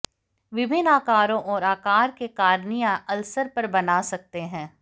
विभिन्न आकारों और आकार के कॉर्निया अल्सर पर बना सकते हैं